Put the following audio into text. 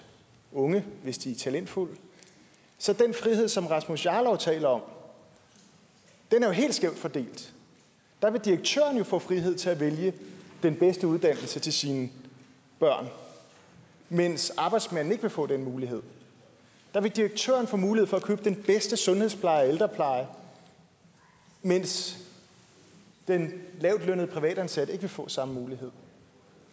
unge hvis de er talentfulde så den frihed som herre rasmus jarlov taler om er jo helt skævt fordelt der vil direktøren få frihed til at vælge den bedste uddannelse til sine børn mens arbejdsmanden ikke vil få den mulighed der vil direktøren få mulighed for at købe den bedste sundhedspleje og ældrepleje mens den lavtlønnede privatansatte ikke vil få samme mulighed